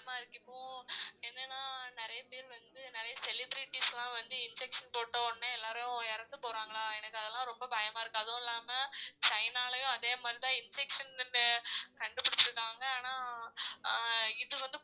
பயமா இருக்கு. இப்போ என்னன்னா நிறைய பேர் வந்து நிறைய celebraties லாம் வந்து injection போட்ட உடனே எல்லாரும் இறந்து போறாங்களா எனக்கு அதெல்லாம் ரொம்ப பயமா இருக்கு அதுவுமில்லாம சைனாலேயும் அதே மாதிரிதான் infection கண்டுபிடிச்சிருக்காங்க ஆனா அஹ் இது வந்து